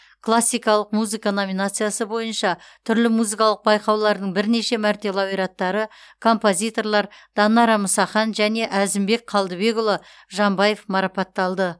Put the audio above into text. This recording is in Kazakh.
классикалық музыка номинациясы бойынша түрлі музыкалық байқаулардың бірнеше мәрте лауреаттары композиторлар данара мұсахан және әзімбек қалдыбекұлы жамбаев марапатталды